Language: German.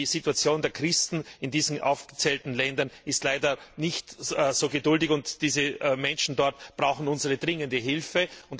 Die Situation der Christen in diesen aufgezählten Ländern ist leider nicht so geduldig, und die Menschen dort brauchen dringend unsere Hilfe.